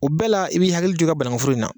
O bɛɛ la i bɛ i hakili to i ka bananku foro in na.